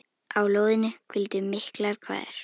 Á lóðinni hvíldu miklar kvaðir.